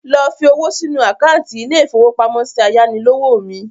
Lọ fi owó sínu àkántì ilé-ìfowópamọ́sí ayánilówó mi